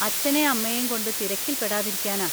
അച്ഛനേം അമ്മയേം കൊണ്ട് തിരക്കിൽ പെടാതിരിക്കാനാ.